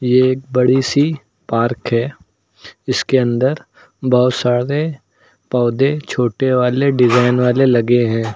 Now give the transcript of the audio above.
ये एक बड़ी सी पार्क है जिसके अंदर बहुत सारे पौधे छोटे वाले डिजाइन वाले लगे है।